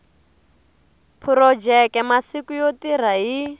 phurojeke masiku yo tirha hi